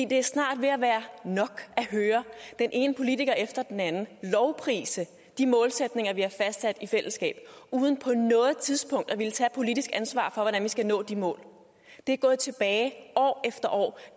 det er snart ved at være nok at høre den ene politiker efter den anden lovprise de målsætninger vi har fastsat i fællesskab uden på noget tidspunkt at ville tage et politisk ansvar for hvordan vi skal nå de mål det er gået tilbage år efter år